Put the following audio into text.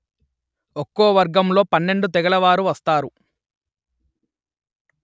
ఒక్కో వర్గంలో పన్నెండు తెగలవారు వస్తారు